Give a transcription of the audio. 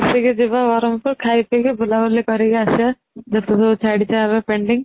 ମିଶିକି ଯିବା ବ୍ରହ୍ମପୁର ଖାଇ ପିକି ବୁଲାବୁଲି କରିକି ଆସିବା ଯେତେ ସବୁ ଛାଡିଛେ ଆମେ pending